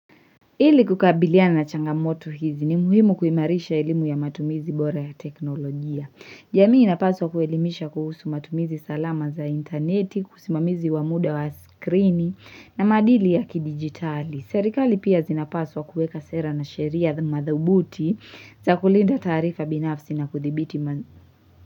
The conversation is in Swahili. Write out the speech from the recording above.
Ili kukabiliana na changamoto hizi ni muhimu kuimarisha elimu ya matumizi bora ya teknolojia. Jamii inapaswa kuelimisha kuhusu matumizi salama za interneti, kusimamizi wa muda wa skrini na madili ya kidigitali. Serikali pia zinapaswa kueka sera na sheria madhubuti za kulinda taarifa binafsi na kuthibiti.